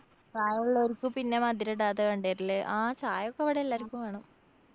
പ്രായള്ളോര്‍ക്ക് പിന്നെ മധുരിടാതെ ആ ചായൊക്കെ ഇവടെ എല്ലാര്‍ക്കും വേണം.